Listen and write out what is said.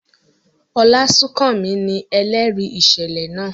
Olasunkanmi ni ẹlẹri iṣẹlẹ naa.